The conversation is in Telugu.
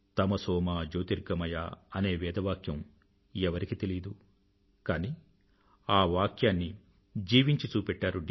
తమసోమా జ్యోతిర్గమయా అనే వేద వాక్యం ఎవరికి తెలీదు కానీ ఆ వాక్యాన్ని జీవించి చూపెట్టారు డి